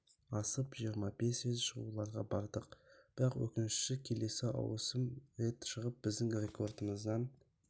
асып жиырма бес рет шығуларға бардық бірақ өкініштісі келесі ауысым рет шығып біздің рекордымыздан